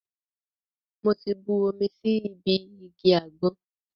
Mo ti bu omi sí ibi igi àgbọn.